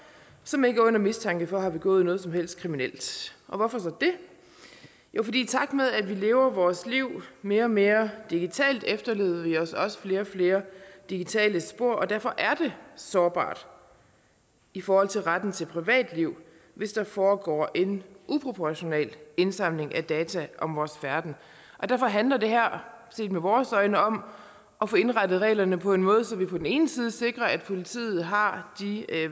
som ikke er under mistanke for at have begået noget som helst kriminelt hvorfor så det jo for i takt med at vi lever vores liv mere og mere digitalt efterlader vi os også flere og flere digitale spor og derfor er det sårbart i forhold til retten til privatliv hvis der foregår en uproportional indsamling af data om vores færden derfor handler det her set med vores øjne om at få indrettet reglerne på en måde så vi på den ene side sikrer at politiet har de